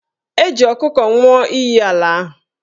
E ji ọkụkọ nwụọ iyi ala ahụ